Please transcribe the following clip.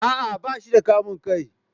a'a bashi da kamun kai.